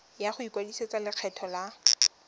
ya go ikwadisetsa lekgetho la